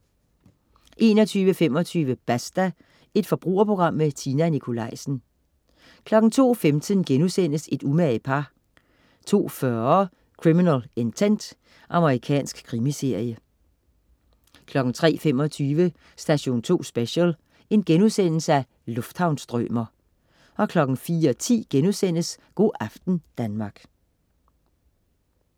21.25 Basta. Forbrugerprogram med Tina Nikolaisen 02.15 Et umage par* 02.40 Criminal Intent. Amerikansk krimiserie 03.25 Station 2 Special: Lufthavns-strømer* 04.10 Go' aften Danmark*